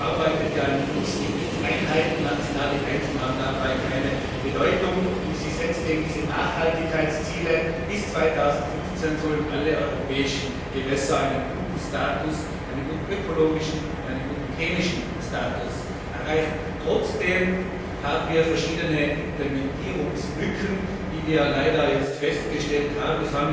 Sie arbeitet in Flussgebietseinheiten, nationale Grenzen haben dabei keine Bedeutung. Sie setzt zudem Nachhaltigkeitsziele Bis 2015 sollen alle europäischen Gewässer einen guten ökologischen und chemischen Status erreichen. Trotzdem haben wir verschiedene Implementierungslücken, wie wir leider jetzt festgestellt haben.